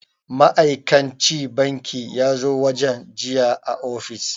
Ma'aikan ci banki yazo wajen jiya a ofis